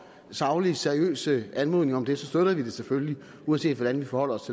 saglige seriøse anmodninger om det så støtter vi det selvfølgelig uanset hvordan vi forholder os